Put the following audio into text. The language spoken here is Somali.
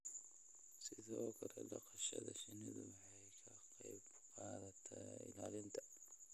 Sidoo kale, dhaqashada shinnidu waxay ka qayb qaadataa ilaalinta